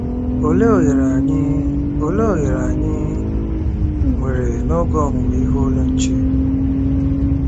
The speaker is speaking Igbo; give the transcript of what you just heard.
Olee ohere anyị Olee ohere anyị nwere n'oge Ọmụmụ Ihe Ụlọ Nche?